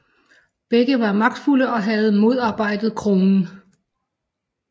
Begge var magtfulde og havde modarbejdet kronen